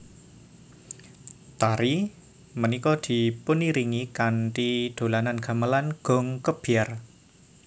Tari punika dipuniringi kanthi dolanan gamelan gong kebyar